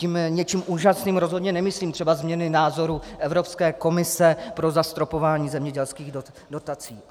Tím něčím úžasným rozhodně nemyslím třeba změny názoru Evropské komise pro zastropování zemědělských dotací.